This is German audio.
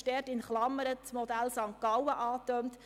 In Klammern wird das Modell aus St. Gallen angetönt.